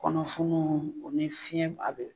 Kɔnɔ funu o ni fiɲɛ